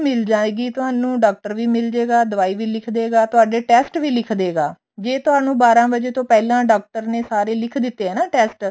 ਮਿਲ ਜਾਏਗੀ ਤੁਹਾਨੂੰ ਡਾਕਟਰ ਵੀ ਮਿਲਜੇਗਾ ਦਵਾਈ ਵੀ ਲਿਖ ਦੇਗਾ ਤੁਹਾਡੇ test ਵੀ ਲਿਖਦੇ ਗਾ ਜੇ ਤੁਹਾਨੂੰ ਬਾਰਾਂ ਵਜੇ ਤੋਂ ਪਹਿਲਾਂ ਡਾਕਟਰ ਨੇ ਸਾਰੇ ਲਿਖ ਦਿੱਤੇ ਆ ਨਾ test